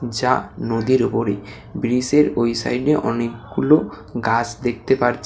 যা নদীর উপরে ব্রীজের ওই সাইডে অনেকগুলো গাছ দেখতে পারছি।